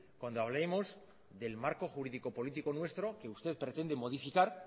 cuando hablemos del marco jurídico político nuestro que usted pretende modificar